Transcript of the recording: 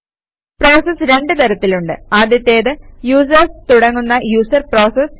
processes രണ്ട് തരത്തിലുണ്ട്160 ആദ്യത്തേത് യൂസേര്സ് തുടങ്ങുന്ന യൂസർ പ്രോസസസ്